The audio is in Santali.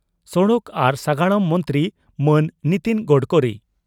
ᱥᱚᱲᱚᱠ ᱟᱨ ᱥᱟᱜᱟᱲᱚᱢ ᱢᱚᱱᱛᱨᱤ ᱢᱟᱱ ᱱᱤᱛᱤᱱ ᱜᱚᱰᱠᱚᱨᱤ ᱾